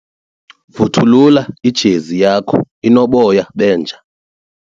Vuthulula ijezi yakho inoboya benja.